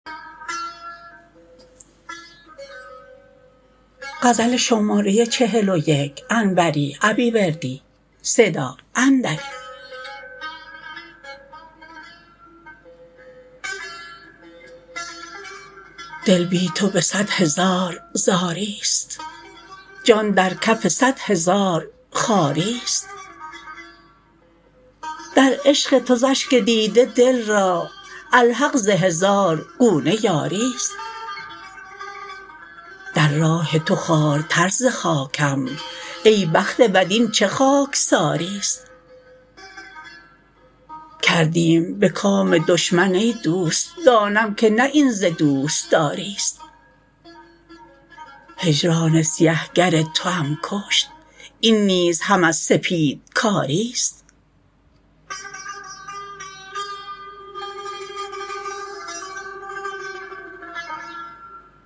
دل بی تو به صدهزار زاریست جان در کف صدهزار خواریست در عشق تو ز اشک دیده دل را الحق ز هزار گونه یاریست در راه تو خوارتر ز خاکم ای بخت بد این چه خاکساریست کردیم به کام دشمن ای دوست دانم که نه این ز دوستاریست هجران سیه گر توام کشت این نیز هم از سپیدکاریست